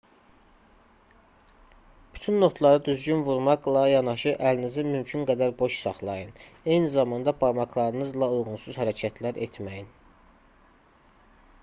bütün notları düzgün vurmaqla yanaşı əlinizi mümkün qədər boş saxlayın eyni zamanda barmaqlarınızla uyğunsuz hərəkətlər etməyin